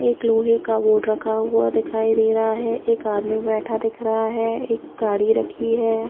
एक लोहै का बोर्ड रखा दिखाई दे रहा है एक आदमी बैठा दिख रहा है एक गाढ़ी रखी है।